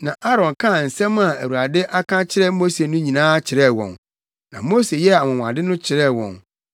na Aaron kaa nsɛm a Awurade aka akyerɛ Mose no nyinaa kyerɛɛ wɔn, na Mose yɛɛ anwonwade no kyerɛɛ wɔn